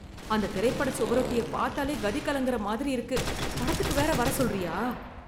அந்தத் திரைப்பட சுவரொட்டியப் பாத்தாலே கதி கலங்குற மாதிரி இருக்கு, படத்துக்கு வேற வர சொல்றியா.